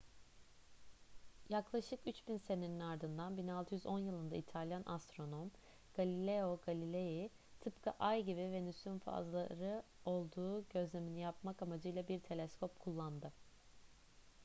yaklaşık üç bin senenin ardından 1610 yılında i̇talyan astronom galileo galilei tıpkı ay gibi venüs'ün fazları olduğu gözlemini yapmak amacıyla bir teleskop kullandı